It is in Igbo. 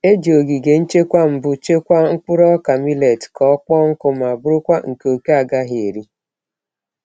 E ji ogige nchekwa mbụ chekwaa mkpụrụ ọka millet ka ọ kpọọ nkụ ma bụrụkwa nke òké agaghị eri.